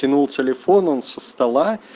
кинул телефон он со стола